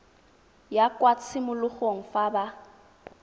ya kwa tshimologong fa ba